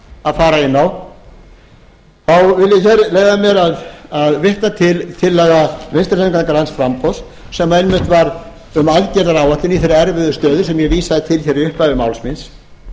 að fara inn á þá vil a hér leyfa mér að vitna til tillagna vinstri hreyfingarinnar gær framboðs sem einmitt var um aðgerðaáætlun í þeirri erfiðu stöðu sem ég vísaði til hér í upphafi máls míns